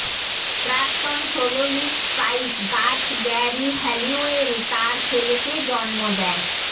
প্রাক্তন soloist Spice Girls Geri Halliwell তার ছেলেকে জন্ম দেয়